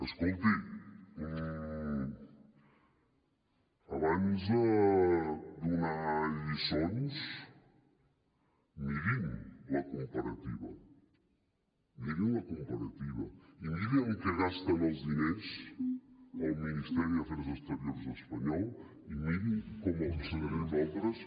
escolti abans de donar lliçons mirin la comparativa mirin la comparativa i miri en què gasta els diners el ministeri d’afers exteriors espanyol i miri com els gastem nosaltres